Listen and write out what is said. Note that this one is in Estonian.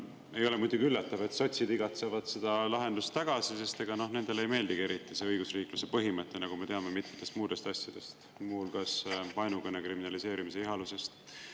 Ei ole muidugi üllatav, et sotsid igatsevad seda lahendust tagasi, sest ega, noh, nendele ei meeldigi eriti see õigusriikluse põhimõte, nagu me teame mitmetest muudest asjadest, muu hulgas vaenukõne kriminaliseerimise ihalusest.